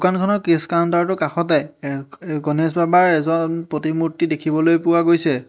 দোকানখনত কেছ কাউন্টাৰটোৰ কাষতে এ এ গণেশ বাবাৰ এজন প্ৰতিমূৰ্তি দেখিবলৈ পোৱা গৈছে।